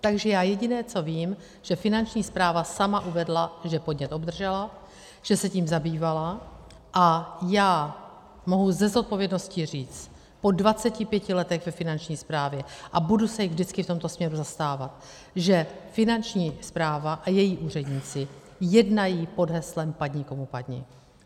Takže já jediné, co vím, že Finanční správa sama uvedla, že podnět obdržela, že se tím zabývala, a já mohu se zodpovědností říct po 25 letech ve Finanční správě, a budu se jich vždycky v tomto směru zastávat, že Finanční správa a její úředníci jednají pod heslem padni komu padni.